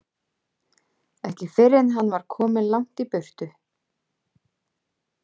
Ekki fyrr en hann var kominn langt í burtu.